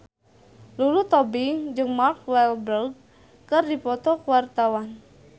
Lulu Tobing jeung Mark Walberg keur dipoto ku wartawan